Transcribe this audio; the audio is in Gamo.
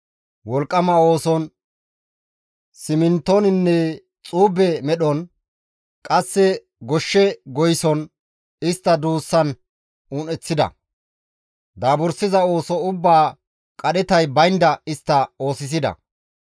Wolqqama ooson, simintoninne xuube medhon, qasse goshshe goyson, istta duussan un7eththida; daabursiza ooso ubbaa qadhetay baynda istta oosisida.